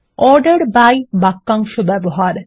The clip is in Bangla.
অর্ডার বাই বাক্যাংশ ব্যবহার